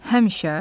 Həmişə?